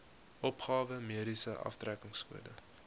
opgawe mediese aftrekkingskode